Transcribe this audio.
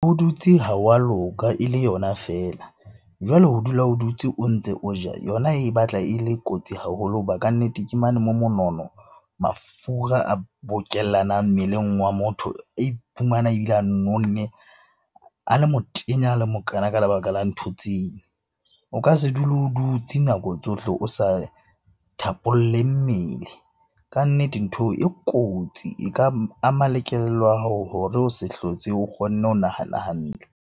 Ha wa loka e le yona feela. Jwale ho dula o dutse o ntse o ja yona e batla e le kotsi haholo hoba kannete ke mane mo monono, mafura a bokellanang mmeleng wa motho. A iphumana ebile a nonnne, a le motenya, a le mokana ka lebaka la ntho tseo. O ka se dule o dutse nako tsohle o sa thapolle mmele. Kannete ntho e kotsi, e ka ama le kelello ya hao hore o se hlotse o kgonne ho nahana hantle.